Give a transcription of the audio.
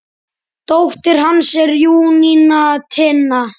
Dóttir hans er Júníana Tinna.